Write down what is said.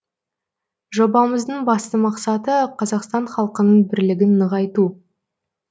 жобамыздың басты мақсаты қазақстан халқының бірлігін нығайту